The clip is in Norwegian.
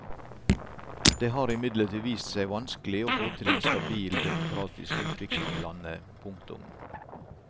Det har imidlertid vist seg vanskelig å få til en stabil demokratisk utvikling i landet. punktum